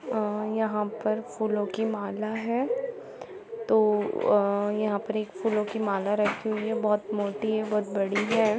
आ यहाँ पर फूलो की माला है तो आ यहाँ पर एक फूलो की माला रखी हुई है बहुत मोटी है बहुत बड़ी है।